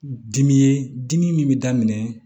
Dimi ye dimi min bɛ daminɛ